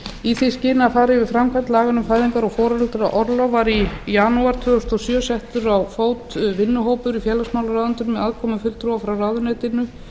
í því skyni að fara yfir framkvæmd laganna um fæðingar og foreldraorlof var í janúar tvö þúsund og sjö settur á fót vinnuhópur í félagsmálaráðuneytinu með aðkomu fulltrúa frá ráðuneytinu